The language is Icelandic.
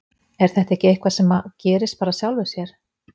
Er þetta ekki eitthvað sem að gerist bara að sjálfu sér?